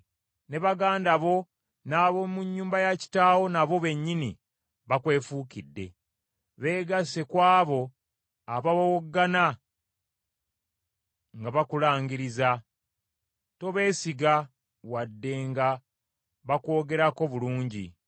Ne baganda bo n’ab’omu nnyumba ya kitaawo nabo bennyini bakwefuukidde, beegasse ku abo abawowoggana nga bakulangiriza. Tobeesiga wadde nga bakwogerako bulungi.”